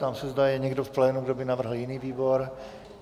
Ptám se, zda je někdo v plénu, kdo by navrhl jiný výbor.